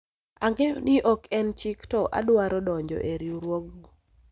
ang'eyo ni ok en chik to adwaro donjo e riwruogu